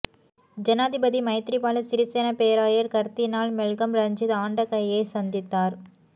ஜனாதிபதி மைத்ரிபால சிறிசேன பேராயர் கர்தினால் மெல்கம் ரஞ்சித் ஆண்டகையை சந்தித்தார்